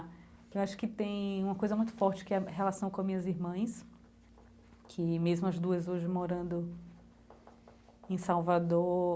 Que eu acho que tem uma coisa muito forte que é a relação com as minhas irmãs, que mesmo as duas hoje morando em Salvador